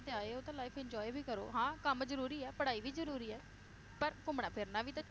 ਤੇ ਆਏ ਹੋ ਤਾਂ life enjoy ਵੀ ਕਰੋ, ਹਾਂ ਕੰਮ ਜਰੂਰੀ ਆ ਪੜ੍ਹਾਈ ਵੀ ਜ਼ਰੂਰੀ ਆ, ਪਰ ਘੁੰਮਣਾ ਫਿਰਨਾ ਵੀ ਤਾਂ